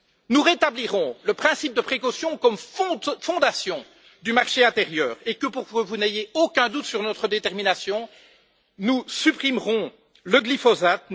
Nous rétablirons le principe de précaution comme fondement du marché intérieur et, pour que vous n'ayez aucun doute sur notre détermination, nous supprimerons le glyphosate.